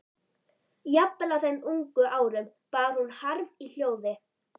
Jafnvel á þeim ungu árum bar hún harm í hljóði.